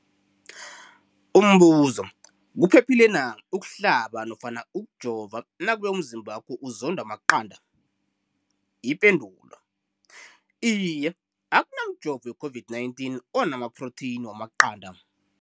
Umbuzo, kuphephile na ukuhlaba nofana ukujova nakube umzimbakho uzondwa maqanda. Ipendulo, Iye. Akuna mjovo we-COVID-19 ona maphrotheyini wamaqanda.